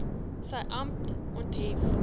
sy amp onthef